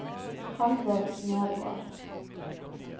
Halvor Nergård